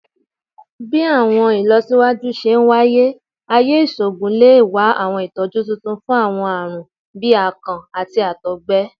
Bi awọn ilọsiwaju ṣe waye, aaye iṣoogun le wa awọn itọju tuntun fun awọn aarun bii akàn ati àtọgbẹ